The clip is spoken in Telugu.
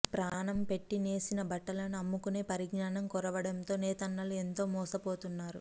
ప్రాణం పెట్టి నేసిన బట్టలను అమ్ముకునే పరిజ్ఞానం కొరవడటంతో నేతన్నలు ఎంతో మోసపోతున్నారు